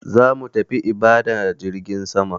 Zamu tafi Ibadan a jirgin sama.